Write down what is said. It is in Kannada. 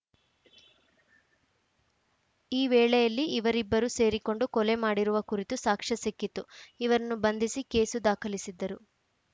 ಈ ವೇಳೆಯಲ್ಲಿ ಇವರಿಬ್ಬರು ಸೇರಿಕೊಂಡು ಕೊಲೆ ಮಾಡಿರುವ ಕುರಿತು ಸಾಕ್ಷ್ಯ ಸಿಕ್ಕಿತು ಇವರನ್ನು ಬಂಧಿಸಿ ಕೇಸು ದಾಖಲಿಸಿದ್ದರು